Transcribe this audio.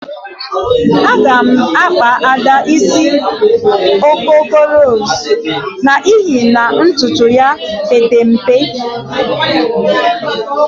Agam akpa ada isi okoko ros n'ihi na ntutu ya ka Pete mpe.